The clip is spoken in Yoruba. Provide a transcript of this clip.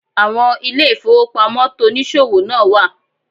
Àwon ilé ìfowópamọ́ tonìsòwò náà wà